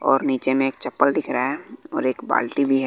और नीचे में एक चप्पल दिख रहा है और एक बाल्टी भी है।